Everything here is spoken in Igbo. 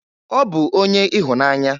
Ọ bụ onye ịhụnanya.